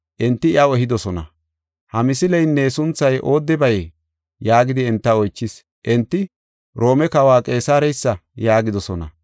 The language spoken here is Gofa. Enti iyaw ehidosona, “Ha misileynne sunthay oodebayee?” yaagidi enta oychis. Enti, “Roome Kawa Qeesareysa” yaagidosona.